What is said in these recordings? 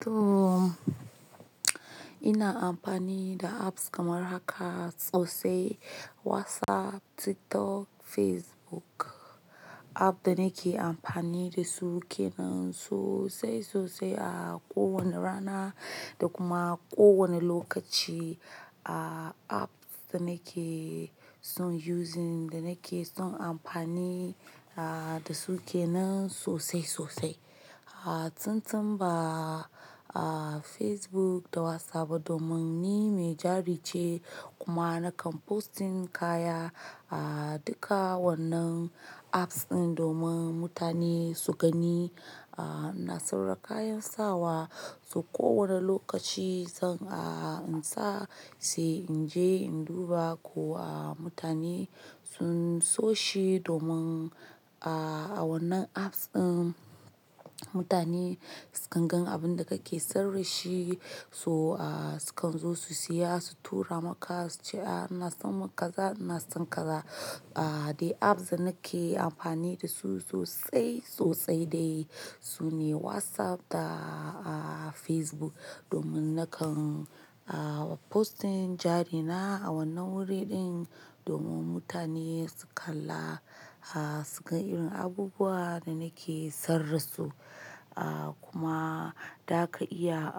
To ina amfani da apps kamar haka sosai WhatsApp, TikTok, Facebook app da nake amfani da su kenan sosai sosai. A ko wane rana da kuma ko wane lokaci. A apps da nake son using da nake son amfani da su kenan sosai sosai. A tuntun ba a Facebook da WhatsApp ba domin ni mai jari ce kuma nakan posting kaya a duka wannan apps din domin mutane su gani. A ina saurara kayan sawa, so kowane lokaci zan a in sa sai in je in duba ko a mutane sun so shi domin, aa a wannan apps din mutane sukan gan abin da kake sarrashi so a sukan zo su siya su tura maka su ce, "a ina son makaza ina son kaza". A dai apps da nake amfani da su sosai sosai dai sune WhatsApp da a Facebook domin nakan a posting jari na a wannan wuri din domin mutane su kalla a su ga irin abubuwa da nake sarrasu. A kuma zaka iya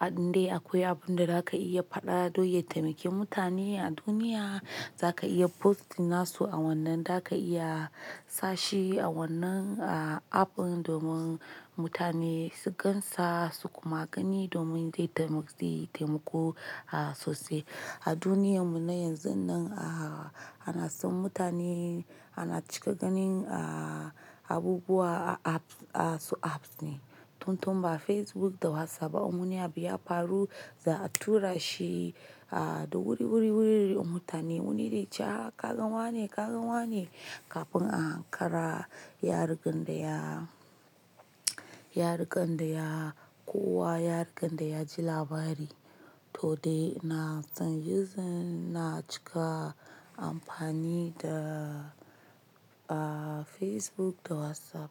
a in dai akwai abun da zaka iya faɗa don ya taimaki mutane a duniya, zaka iya posting nassu a wannan, zaka iya sashi a wannan a app din domin mutane su gansa su kuma gani domin dai taimaki taimako a sosai. A duniyarmu na yanzun nan a ana son mutane ana cika ganin a abubuwa a apps a su apps ne. Tuntun ba Facebook da WhatsApp a in wani abu ya faru za a tura shi a da wuri-wuri da mutane wani zai ce aa ka gane wane ka gane wane kafin a hankara ya riga daya ya rike daya kowa ya rike daya ji labari. To dai na son using na cika amfani da a Facebook da WhatsApp.